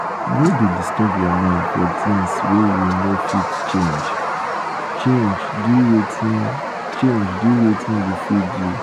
no dey disturb your mind for things wey you no um fit um change do wetin change do wetin you fit um do.